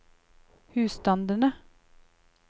husstandene